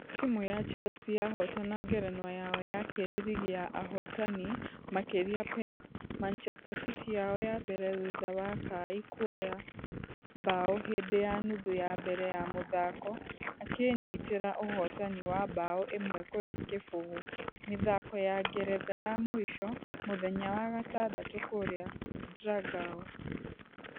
Timũ ya chelsea yahotana ngerenwa yao yakĩrĩ rigi ya ahotani , makĩrega pep manchester city yao ya mbere thutha wa kai kuoya bao hindĩ ya nuthu ya mbere ya mũthako akĩinyitĩra ũhotani wa bao ĩmwe kũrĩ kĩbugu mĩthako ya ngeretha ya mũisho mũthenya wa gatandatũ kũrĩa dragao.